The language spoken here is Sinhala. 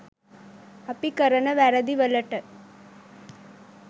අපි කරන වැරදි වලට